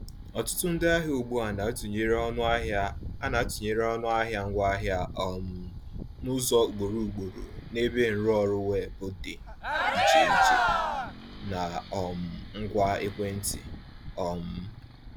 Ọtụtụ ndị ahịa ugbu a na-atụnyere ọnụahịa a na-atụnyere ọnụahịa ngwaahịa um n’ụzọ ugboro ugboro n’ebe nrụọrụ weebụ dị iche iche na um ngwa ekwentị. um